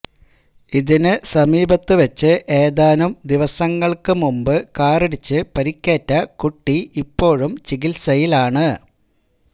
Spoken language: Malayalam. ഇതിന് സമീപത്ത് വെച്ച് ഏതാനും ദിവസങ്ങള്ക്ക് മുമ്പ് കാറിടിച്ച് പരുക്കേറ്റ കുട്ടി ഇപ്പോഴും ചികിത്സയിലാണ്